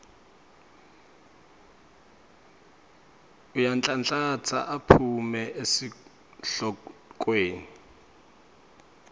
uyanhlanhlatsa aphume esihlokweni